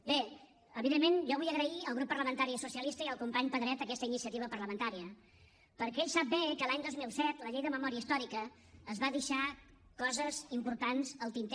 bé evidentment jo vull agrair al grup parlamentari socialista i al company pedret aquesta iniciativa parlamentària perquè ell sap bé que l’any dos mil set la llei de memòria històrica es va deixar coses importants al tinter